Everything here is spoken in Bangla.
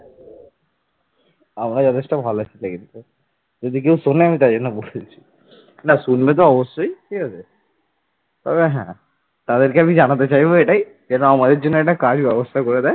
তাদেরকে আমি জানাতে চাইবো এটাই যে আমাদের জন্যে একটা কাজ ব্যবস্থা করে দেয়।